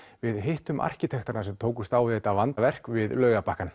við hittum arkitektana sem tókust á við þetta vandaverk við